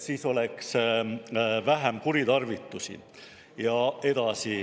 Siis oleks vähem kuritarvitusi.